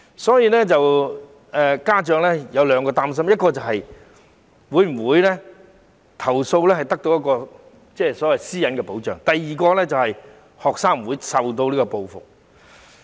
所以家長有兩個擔心，第一，投訴會否得到私隱的保障；第二，學生會否遭受報復。